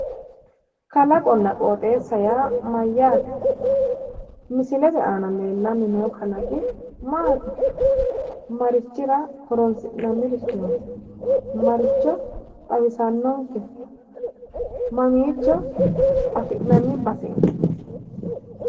kalaqonna qooxeessa yaa mayyaate? misilete aana leellanni noo kalaqi maati? marichira horonsi'nanirichooti? maricho xawisannonkeho? mamiicho afi'nanni baseeti?